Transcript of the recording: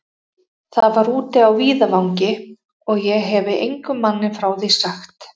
Það var úti á víðavangi, og ég hefi engum manni frá því sagt.